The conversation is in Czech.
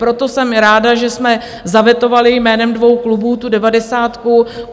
Proto jsem ráda, že jsme zavetovali jménem dvou klubů tu devadesátku.